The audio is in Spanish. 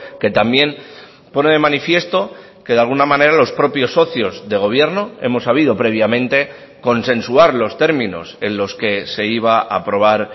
que también pone de manifiesto que de alguna manera los propios socios de gobierno hemos sabido previamente consensuar los términos en los que se iba a aprobar